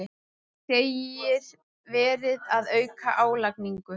Segir verið að auka álagningu